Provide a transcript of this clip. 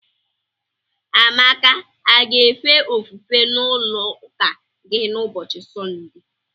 Amaka a ga-efe ofufe n'ụlọụka gị n'ụbochị Sọnde?